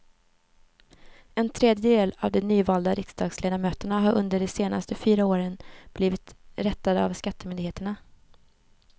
En tredjedel av de nyvalda riksdagsledamöterna har under de senaste fyra åren blivit rättade av skattemyndigheterna.